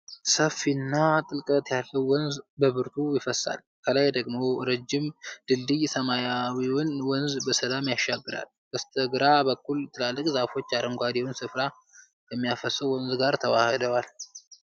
ሰፊና ጥልቀት ያለው ወንዝ በብርቱ ይፈሳል፤ ከላይ ደግሞ ረዥም ድልድይ ሰማያዊውን ወንዝ በሰላም ያሻግራል። በስተግራ በኩል ትላልቅ ዛፎች አረንጓዴውን ሥፍራ ከሚያፈሰው ወንዝ ጋር ተዋህደዋል።